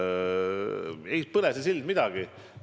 Ei põle see sild midagi.